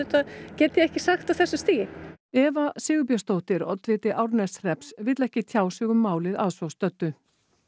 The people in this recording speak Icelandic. get ég ekki sagt á þessu stigi Eva Sigurbjörnsdóttir oddviti Árneshrepps vill ekki tjá sig um málið að svo stöddu